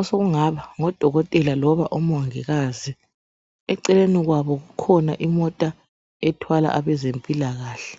osokungaba ngodokotela loba omongikazi eceleni kwabo kukhona imota ethwala abezempilakahle .